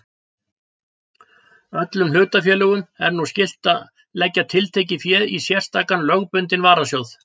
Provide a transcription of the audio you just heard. Öllum hlutafélögum er nú skylt að leggja tiltekið fé í sérstakan lögbundinn varasjóð.